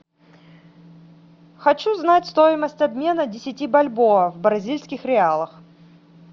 хочу знать стоимость обмена десяти бальбоа в бразильских реалах